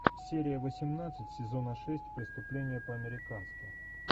серия восемнадцать сезона шесть преступление по американски